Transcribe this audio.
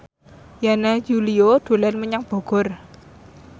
Yana Julio dolan menyang Bogor